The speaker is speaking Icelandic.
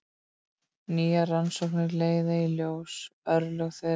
Nýjar rannsóknir leiða í ljós örlög þeirra.